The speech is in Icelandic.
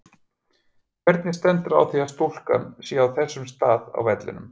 Hvernig stendur á því að stúkan sé á þessum stað á vellinum?